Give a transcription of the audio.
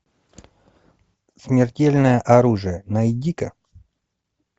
смертельное оружие найди ка